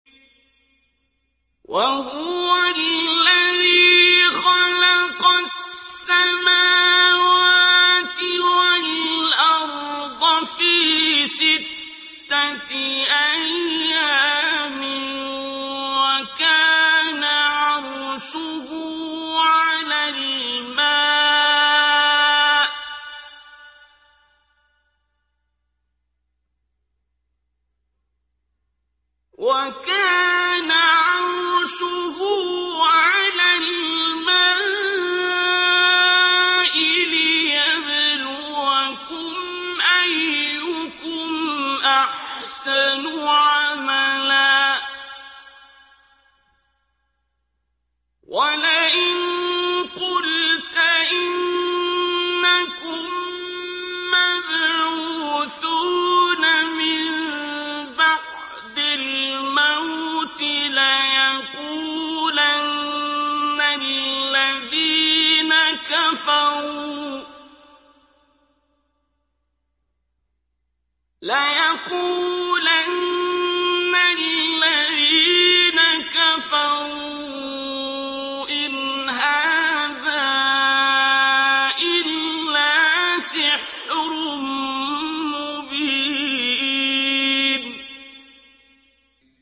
وَهُوَ الَّذِي خَلَقَ السَّمَاوَاتِ وَالْأَرْضَ فِي سِتَّةِ أَيَّامٍ وَكَانَ عَرْشُهُ عَلَى الْمَاءِ لِيَبْلُوَكُمْ أَيُّكُمْ أَحْسَنُ عَمَلًا ۗ وَلَئِن قُلْتَ إِنَّكُم مَّبْعُوثُونَ مِن بَعْدِ الْمَوْتِ لَيَقُولَنَّ الَّذِينَ كَفَرُوا إِنْ هَٰذَا إِلَّا سِحْرٌ مُّبِينٌ